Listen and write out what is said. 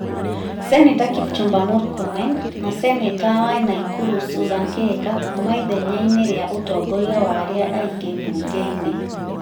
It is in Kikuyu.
Seneta Kipchumba Murkomen na seneta wa Naikuru Susan Kĩhika kuuma ithenya rĩa ũtongoria wa arĩa aĩngĩ mbunge-inĩ ,